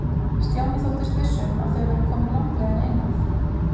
Stjáni þóttist viss um að þau væru komin langleiðina inn að